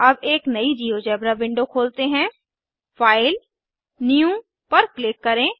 अब एक नयी जिओजेब्रा विंडो खोलते हैं फाइल जीटीजीटी न्यू पर क्लिक करें